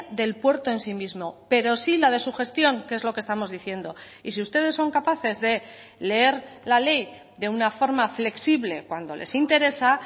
del puerto en sí mismo pero sí la de su gestión que es lo que estamos diciendo y si ustedes son capaces de leer la ley de una forma flexible cuando les interesa